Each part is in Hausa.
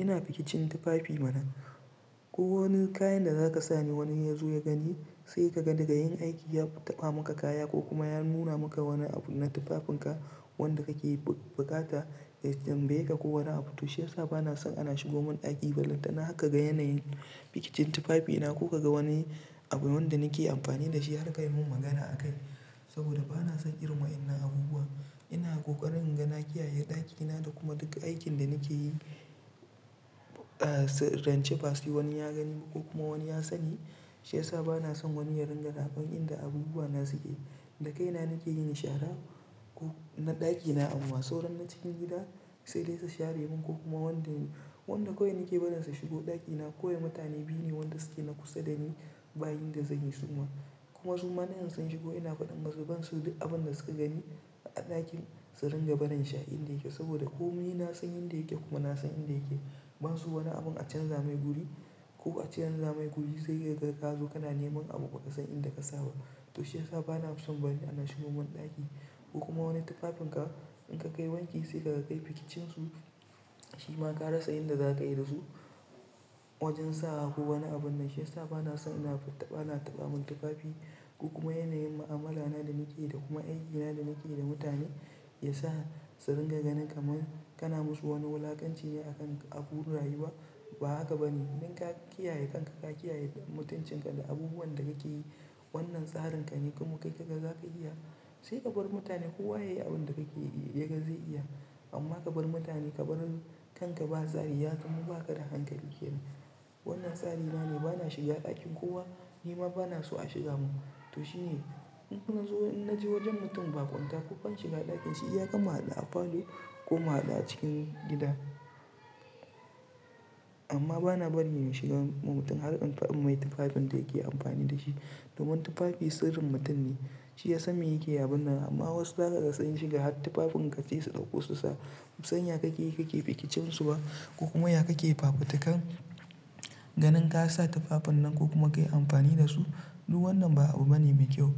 Ina fi kicin tufafi mana. Ko wani kayan da za ka sa ne wani in ya zo ya gani, sai ka ga daga in aiki ya taɓa maka kaya ko kuma ya nuna maka wani abu na tufafinka wanda kake bukata ya tambaye ka ko wani abu. To shiyasa bana son ana shigo mun ɗaki ba. Balantana har ka ga yanayin bikicin tufafi na ko ka ga wani abu wanda nake amfani har ka yi mun magana akai saboda bana son irin wainnan abubuwa. Ina ƙoƙarin inga na kiyaye ɗakina da kuma duk aikin da nake yi, ran ce ba sai wani ya gani ko kuma wani ya sani. Shiyasa bana son wani ya ringa raɓar inda abubuwana suke. Da kaina nake yin shara na ɗakina amma sauran na cikin gida sai dai su share mun ko kuma wanda kawai nake barin su shigo ɗakina. Kawai mutane biyu ne wanda suke na kusa dani ba yan da zan yi su ma. Kuma su ma din in sun shigo ina faɗin masu ban so duk abun da suka gani a ɗakin su ringa barin sha inda yake. Saboda komai na san yan da yake kuma na san inda yake. Banso wani abun a canza mai guri ko a canza mai guri sai kai ka kazo kana neman abu ba ka san inda ka sa ba. To shiyasa bana son bari ana shigowa mun ɗaki ko kuma wani tufafinka in ka kai wanki sai ka kai fikicin su shima ka rasa inda zaka yi dasu wajen sawa ko wani abu nan. Shiyasa bana son ana taɓa mun tufafi ko kuma yanayin mu'amala na da nake yi da kuma aikina da nake yi da mutane ya sa su ringa ganin kaman kana musu wani wulakanci ne akan abun rayuwa. Ba haka bane. In ka kiyaye kanka, ka kiyaye mutuncin ka da abubuwan da kake yi wannan tsarin ka ne kuma kai kaga zaka iya sai ka bar mutane kowa yayi abun da kake ia ga zai iya. Amma ka bar mutane ka bar kanka ba tsari ya kamu baka da hankali kenan. Wannan tsari na ne bana shiga ɗakin kowa nima bana so a shiga mun. To shine in nazo, in naje wajen mutum ba kwanta ko ban shiga ɗakin shi iya kam mu haɗu a falo ko mu haɗu a cikin gida. Amma bana bari in shigar wa mutum har an fi'in mai tufafin da yake amfani da shi. Domin tufafi sirrin mutum ne. Shi ya san me yake abun nan amma wasu za kaga sun shiga har tufafin ka sai su ɗauko su sa. Basn san ya kake yi kake fikicin su ba ko kuma ya kake fafutukar ganin ka sa tufafin nan ko kuma ka yi amfani da su. Duk wannan ba abu bane me kyau.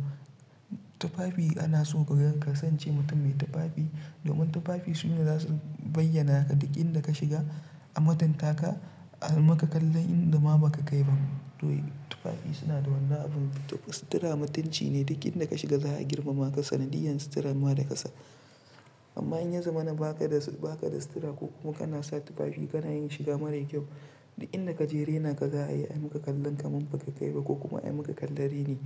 Tufafi ana so ka ga ka sance mutum me tufafi domin tufafi su ne zasu bayyana ka duk inda ka shiga, amutuntaka, a maka kallon inda ma baka kai ba. To tufafi suna da wanna abun, sitira mutunci ne. Duk inda ka shiga za a girmama ka, sanadiyan sitira ma da ka sa. Amma in yazo mana baka da, baka da sitira ko kuma kana sa tufafi kana yin shiga mara kyau duk inda ka je rena ka ga ayi maka kallon kaman baka kai ba ko kuma ayi maka kalla raini.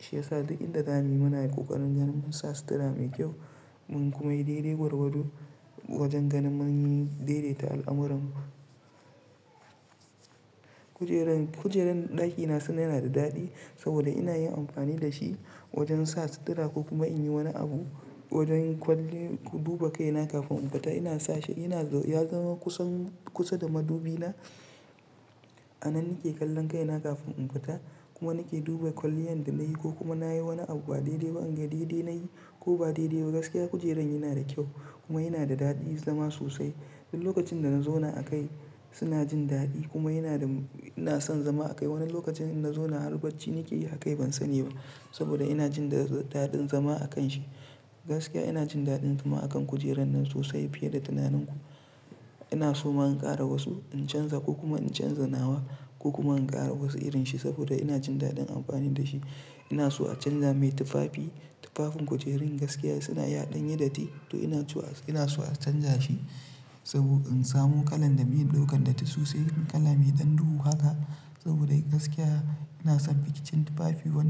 Shiyasa duk inda zamuyi munayi ƙoƙarin ganin mun sa sitira mai kyau mun kuma yi dare gwarwado wajen ganin mun yi daidaita al'amurarmu. Kujeran, kujeran ɗakina suna yana da daɗi saboda ina yin amfani da shi wajen sa sitira ko kuma in yi wani abu. Wajen kwalli duba kaina kafin in fita ina sa shi ina ya zama kusan kusa da madubi na. A nan nake kallon kaina kafin in fita kuma nake duba kwaliyan da nayi ko kuma na yi wani abu ba daidai ba in ga daidai nayi ko ba daidai ba. Gaskiya kujeren yana da kyau kuma yana da daɗin zama sosai. Duk lokacin da na zauna a kai suna jin daɗi kuma yana da ina son zama a kai. Wani lokacin in nazo na harbacci nake yi akai ban sani ba saboda ina jin daɗin zama a kan shi. Gaskiya ina jin daɗin zama akan kujeran nan sosai fiye da tunanin ku. Ina so ma in ƙara wasu in canza ko kuma in canza nawa ko kuma in ƙara wasu irin shi saboda ina jin daɗin amfani da shi. Ina so a canza mai tufafi. Tufafin kujerun gaskiya suna ya ɗan yi datti to ina so, ina so a canja shi saboda in samu kalan da bai ɗaukan datti sosai kala mai ɗan duhu haka saboda gaskiya ina son fikicin tufafi wa.